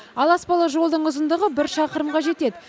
ал аспалы жолдың ұзындығы бір шақырымға жетеді